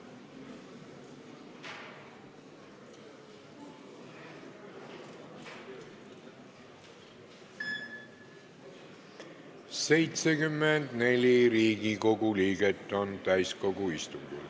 Kohaloleku kontroll 74 Riigikogu liiget on täiskogu istungil.